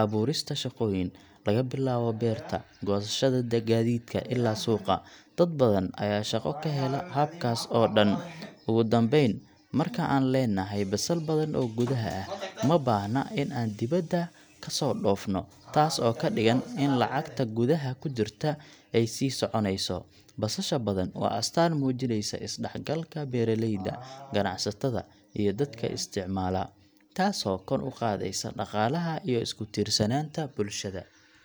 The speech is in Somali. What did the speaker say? abuurista shaqooyin laga bilaabo beerta, goosashada, gaadiidka, ilaa suuqa. Dad badan ayaa shaqo ka hela habkaas oo dhan. Ugu dambayn, marka aan leenahay basal badan oo gudaha ah, ma baahna in aan dibadda ka soo dhoofino, taas oo ka dhigan in lacagta gudaha ku jirta ay sii soconayso. Basasha badan waa astaan muujinaysa isdhexgalka beeraleyda, ganacsatada, iyo dadka isticmaala, taasoo kor u qaadaysa dhaqaalaha iyo isku-tiirsanaanta bulshada.